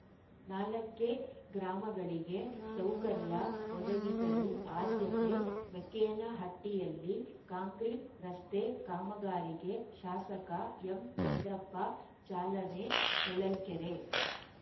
ನಾಲ್ಕ ಕ್ಕೆಗ್ರಾಮಗಳಿಗೆ ಸೌಕರ್ಯ ಒದಗಿಸಲು ಆದ್ಯತೆ ಮೇಕೆನಹಟ್ಟಿಯಲ್ಲಿ ಕಾಂಕ್ರೀಟ್‌ ರಸ್ತೆ ಕಾಮಗಾರಿಗೆ ಶಾಸಕ ಎಂಚಂದ್ರಪ್ಪ ಚಾಲನೆ ಹೊಳಲ್ಕೆರೆ